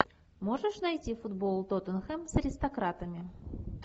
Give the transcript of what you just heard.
можешь найти футбол тоттенхэм с аристократами